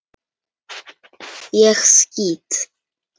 Ég skýt!